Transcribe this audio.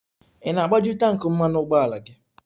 Ị na-agbaju tanki mmanụ ụgbọala gị?